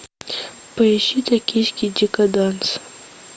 поищи токийский декаданс